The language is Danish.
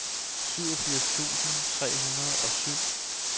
syvogfirs tusind tre hundrede og syv